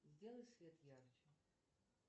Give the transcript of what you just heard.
сделай свет ярче